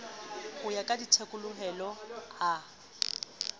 ho ya ka thekolohelo a